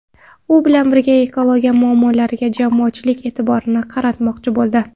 U bu bilan ekologiya muammolariga jamoatchilik e’tiborini qaratmoqchi bo‘ldi.